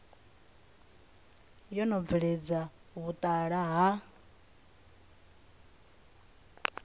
yo no bveledza vhutala ha